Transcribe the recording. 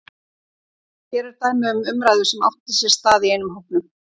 Hér er dæmi um umræðu sem átti sér stað í einum hópnum